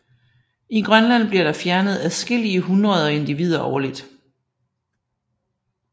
I grønland bliver der fjernet adskillige hundreder individer årligt